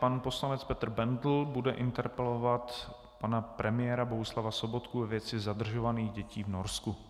Pan poslanec Petr Bendl bude interpelovat pana premiéra Bohuslava Sobotku ve věci zadržovaných dětí v Norsku.